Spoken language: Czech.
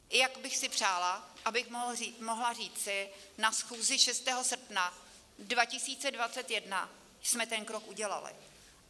Jak bych si přála, abych mohla říci: na schůzi 6. srpna 2021 jsme ten krok udělali.